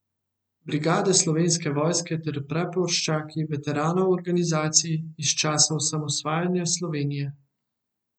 Brigade Slovenske vojske ter praporščaki veteranov organizacij iz časa osamosvajanja Slovenije.